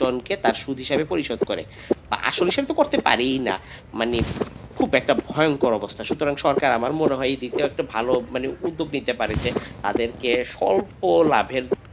সুদ হিসাবে প্রতিশোধ করে আসল সুদ তো শোধ করতে পারেই না মানে খুব একটা ভয়ংকর অবস্থা সুতরাং সরকার আমার মনে হয় এই ভালো একটা উদ্যোগ নিতে পারে যে তাদেরকে স্বল্প লাভের।